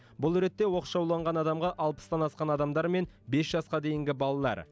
бұл ретте оқшауланған адамға алпыстан асқан адамдар мен бес жасқа дейінгі балалар